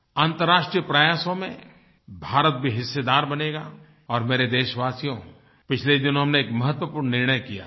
अन्तर्राष्ट्रीय प्रयासों में भारत भी हिस्सेदार बनेगा और मेरे देशवासियो पिछले दिनों में एक महत्वपूर्ण निर्णय किया है